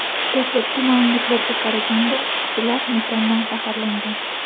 Dastlabki ma’lumotlarga qaraganda, ishchilar metandan zaharlangan.